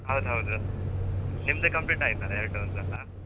ಹೌದೌದು ನಿಮ್ದು complete ಆಯ್ತಲ್ಲಾ ಎರ್ಡ್ dose ಎಲ್ಲ.